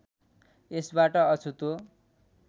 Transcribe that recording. यसबाट अछुतो